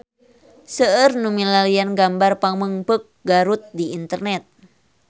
Seueur nu milarian gambar Pamengpeuk Garut di internet